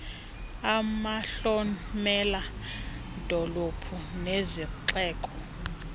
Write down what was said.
amahlomela dolophu nezixeko